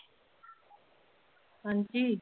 ਹਾਂਜੀ?